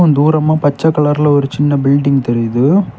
தூரமா பச்ச கலர்ல ஒரு சின்ன பில்டிங் தெரியுது.